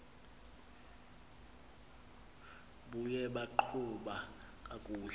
buye baqhuba kakuhle